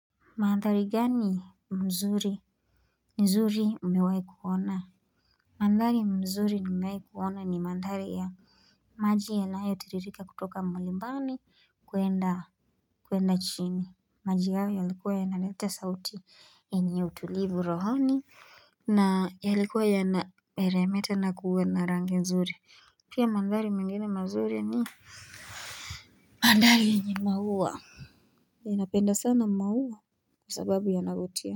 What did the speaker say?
Mandhari gani mzuri, nzuri umewahi kuona? Mandhari mzuri nimewahi kuona ni mandhari ya maji yanayo tiririka kutoka mlimani kwenda kwenda chini. Maji hawa ya likuwa yanaleta sauti yenye utulivu rohoni, na yalikuwa yana meremeta na kuwa na rangi nzuri. Pia mandhari mengine mazuri ni mandhari yenye maua. Ninapenda sana maua kwa sababu yanavutia.